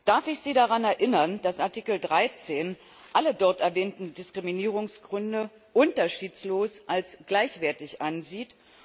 Darf ich Sie daran erinnern, dass Artikel 13 alle dort erwähnten Diskriminierungsgründe unterschiedslos als gleichwertig ansieht?